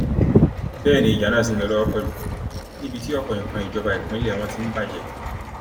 bẹẹ ni ìjà náà ṣì ń lọ lọwọ pẹlú níbi tí ọpọ nǹkan ìjọba ìpínlẹ wọn ti ń bàjẹ